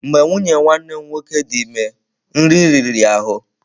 Mgbe nwunye nwanne m nwoke dị ime, nri riri ya ahụ́.